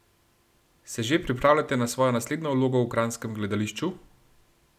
Se že pripravljate na svojo naslednjo vlogo v kranjskem gledališču?